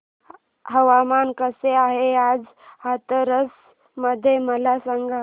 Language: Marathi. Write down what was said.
हवामान कसे आहे आज हाथरस मध्ये मला सांगा